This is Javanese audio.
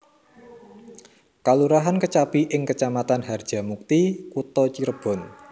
Kalurahan Kecapi ing Kecamatan Harjamukti Kutha Cirebon